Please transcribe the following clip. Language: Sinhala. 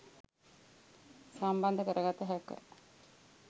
සම්බන්ද කරගත හැක.